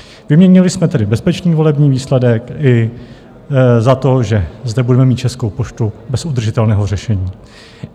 Vyměnili jsme tedy bezpečný volební výsledek i za to, že zde budeme mít Českou poštu bez udržitelného řešení.